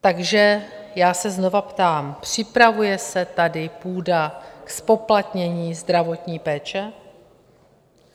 Takže já se znova ptám - připravuje se tady půda ke zpoplatnění zdravotní péče?